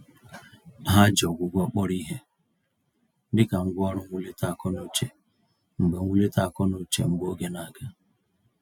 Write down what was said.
Ha ji ọgwụgwọ kpọrọ ìhè, dịka ngwá ọrụ mwulite akọ-n'uche mgbè mwulite akọ-n'uche mgbè oge na-aga.